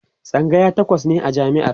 tsangaya takwas ne a jami'ar